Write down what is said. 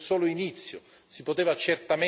Si poteva certamente fare di più.